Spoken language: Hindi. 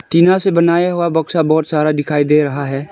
टीना से बनाया हुआ बक्सा बहोत सारा दिखाई दे रहा है।